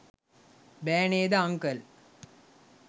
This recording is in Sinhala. බෑ නේද අංකල්?